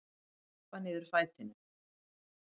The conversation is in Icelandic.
Ég stappa niður fætinum.